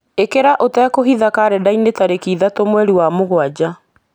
ĩkĩra ũtekũhitha karenda-inĩ tarĩki ithatũ mweri wa mũgwanja